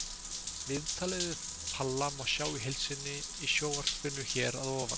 Viðtalið við Palla má sjá í heild sinni í sjónvarpinu hér að ofan.